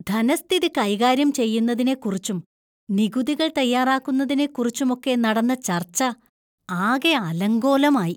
ധനസ്ഥിതി കൈകാര്യം ചെയ്യുന്നതിനെക്കുറിച്ചും, നികുതികൾ തയ്യാറാക്കുന്നതിനെക്കുറിച്ചുമൊക്കെ നടന്ന ചർച്ച ആകെ അലങ്കോലമായി.